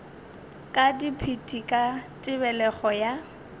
ka dipit ka tebelego ya